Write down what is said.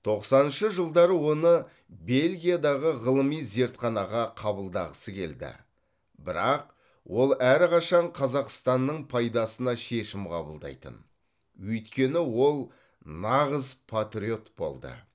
тоқсаныншы жылдары оны бельгиядағы ғылыми зертханаға қабылдағысы келді бірақ ол әрқашан қазақстанның пайдасына шешім қабылдайтын өйткені ол нағыз патриот болды